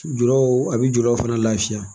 Julaw a bɛ juruw fana lafiya